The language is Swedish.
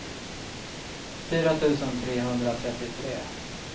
fyra tusen trehundratrettiotre